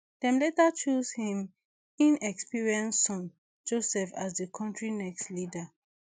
dem later chose im inexperienced son joseph as di kontri next leader